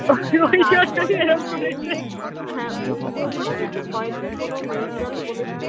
হ্যাঁ, ওই জন্যই হয়তো কোন মেয়ে বিড়াল বলেছে